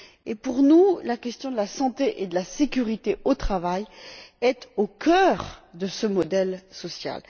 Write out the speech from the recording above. Or, pour nous, la question de la santé et de la sécurité au travail est au cœur de ce modèle social.